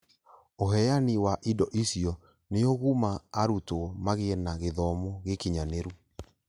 Ūheani wa indo icio nĩũgũma arutwo magĩe na gĩthomo gĩkinyanĩru